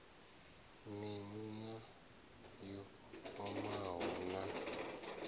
miṋu na yo omaho na